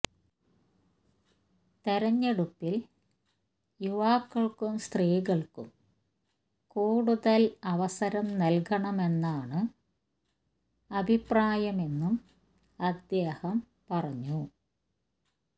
തെരഞ്ഞെടുപ്പില് യുവാക്കള്ക്കും സ്ത്രീകള്ക്കും കൂടുതല് അവസരം നല്കണമെന്നാണ് അഭിപ്രായമെന്നും അദ്ദേഹം പറഞ്ഞു